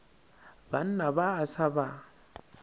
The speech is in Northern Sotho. banna ba a sa ba